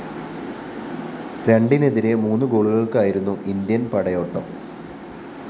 രണ്ടിനെതിരെ മൂന്ന് ഗോളുകള്‍ക്കായിരുന്നു ഇന്ത്യന്‍ പടയോട്ടം